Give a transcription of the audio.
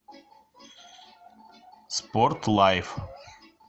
спорт лайф